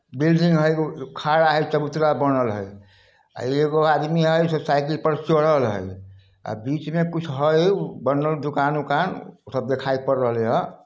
Building है खड़ा है चबूतरा बनल है एगो आदमी है साइकिल पर चढ़ा है आ बीच में कुछ है दुकान ऊकान सब दिखाई पड़ रहले है न ।